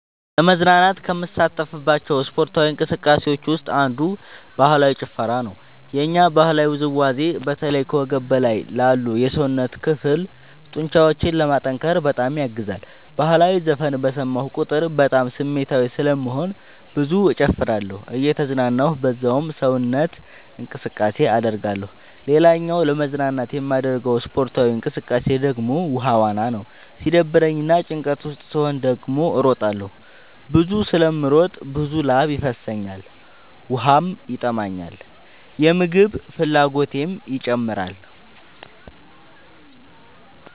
ለመዝናናት ከምሳተፍባቸው ስፓርታዊ እንቅስቃሴዎች ውስጥ አንዱ ባህላዊ ጭፈራ ነው። የኛ ባህላዊ ውዝዋዜ በተለይ ከወገብ በላይ ላሉ የሰውነት ክፍሎ ጡንቻዎችን ለማጠንከር በጣም ያግዛል። በህላዊ ዘፈን በሰማሁ ቁጥር በጣም ስሜታዊ ስለምሆን ብዙ እጨፍራለሁ እየተዝናናሁ በዛውም ሰውነት እንቅስቃሴ አደርጋለሁ። ሌላኛው ለመዝናናት የማደርገው ስፖርታዊ እንቅቃሴ ደግሞ ውሃ ዋና ነው። ሲደብረኝ እና ጭንቀት ውስጥ ስሆን ደግሞ እሮጣለሁ። ብዙ ስለምሮጥ ብዙ ላብ ይፈሰኛል ውሃም ይጠማኛል የምግብ ፍላጎቴም ይጨምራል።